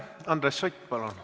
Andres Sutt, palun!